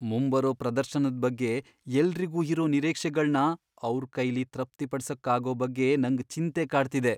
ಮುಂಬರೋ ಪ್ರದರ್ಶನದ್ ಬಗ್ಗೆ ಎಲ್ರಿಗೂ ಇರೋ ನಿರೀಕ್ಷೆಗಳ್ನ ಅವ್ರ್ ಕೈಲಿ ತೃಪ್ತಿಪಡ್ಸೋಕಾಗೋ ಬಗ್ಗೆ ನಂಗ್ ಚಿಂತೆ ಕಾಡ್ತಿದೆ.